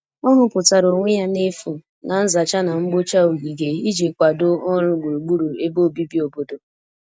ọ huputara onwe ya n'efu na nzacha na mgbocha ogige iji kwado ọrụ gburugburu ebe obibi obodo